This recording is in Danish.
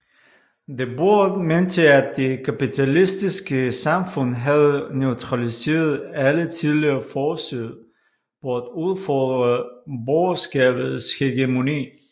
Debord mente at det kapitalistiske samfund havde neutraliseret alle tidligere forsøg på at udfordre borgerskabets hegemoni